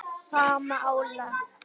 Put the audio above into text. sama álag?